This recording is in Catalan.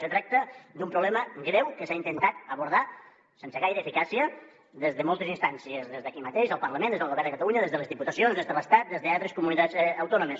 se tracta d’un problema greu que s’ha intentat abordar sense gaire eficàcia des de moltes instàncies des d’aquí mateix al parlament des del govern de catalunya des de les diputacions des de l’estat des d’altres comunitats autònomes